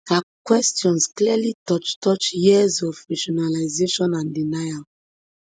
her question clearly touch touch years of rationalisation and denial